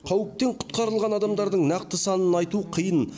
қауіптен құтқарылған адамдардың нақты санын айту қиын